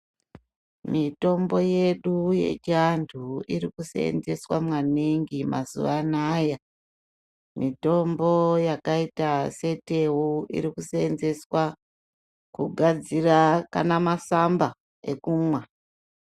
Mitombo yedu yechindau iri kusenzeswa maningi mazuva anaya. Mitombo yakaita setewu, iri kusenzeswa kugadzira kana masamba ekumwa.